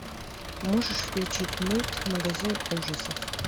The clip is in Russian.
можешь включить мульт магазин ужасов